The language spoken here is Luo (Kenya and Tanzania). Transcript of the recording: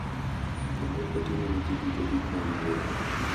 Kendo otimo ne ji duto gik mowinjore.